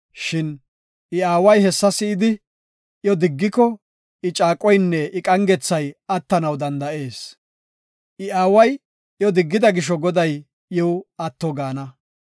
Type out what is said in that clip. Shin I aaway hessa si7idi iyo diggiko I caaqoynne I qangethay attanaw danda7ees. I aaway iyo diggida gisho Goday iw atto gaana.